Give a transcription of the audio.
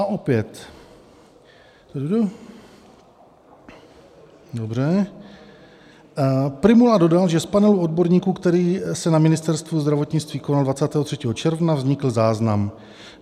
A opět, dobře , Prymula dodal, že z panelu odborníků, který se na Ministerstvu zdravotnictví konal 23. června, vznikl záznam.